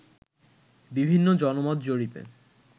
বিভিন্ন জনমত জরিপে